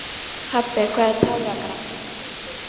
Pabbi, hvað er táragas?